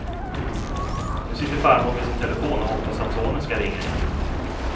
Nu sitter farmor vid sin telefon och hoppas att sonen ska ringa igen.